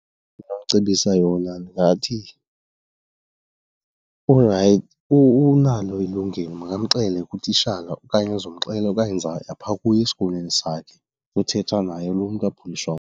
Ndingamcebisa yona ndingathi unalo ilungelo makamxele kutishala okanye uzawumxelela okanye ndizawuya phaa kuye esikolweni sakhe ndiyothetha naye lo mntu .